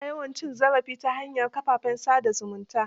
Ana yawan cin zarafi ta hanyar kafafen sa da zumunta.